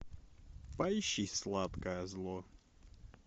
поищи сладкое зло